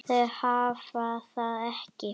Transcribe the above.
Þau hafa það ekki.